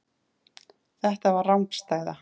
Þetta var rangstæða.